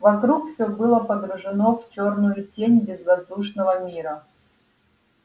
вокруг все было погружено в чёрную тень безвоздушного мира